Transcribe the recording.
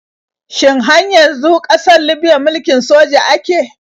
Shin har yanzu ƙasar libiya mulkin soja ake?